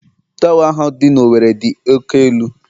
Torwa ahu dị na Owerri dị oke elu